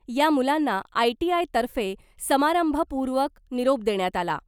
या मुलांना आयटीआयतर्फे समारंभपूर्वक निरोप देण्यात आला .